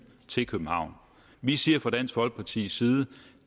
til københavn og vi siger fra dansk folkepartis side at